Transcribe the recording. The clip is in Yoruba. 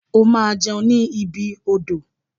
O ma jẹun ni ibi odò.